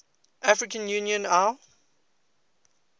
african union au